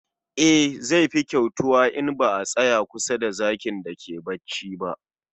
E, zai fi kyautuwa in ba a tsaya kusa da zakin da ke bacci ba